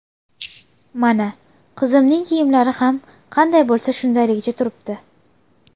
Mana, qizimning kiyimlari ham qanday bo‘lsa shundayligicha turibdi.